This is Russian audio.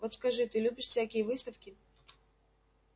вот скажи ты любишь всякие выставки